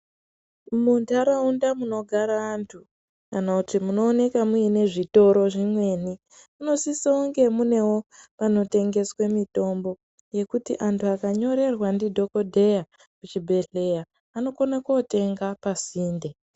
Mundaraunda munogara andu kana kuti munoonekwa muine zvitoro zvimweni munosisa kunge munewo panotengeswa mitombo yekuti andu akanyororerwa ndidhokodheya kuchibhedhlera anokona kotenga pasinde.